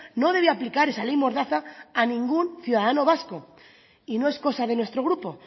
no debe aplicar esa ley mordaza a ningún ciudadano vasco y no es cosa de nuestro grupo